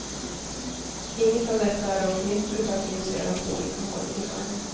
Inget av detta är dock nytt utan finns redan på olika håll i världen.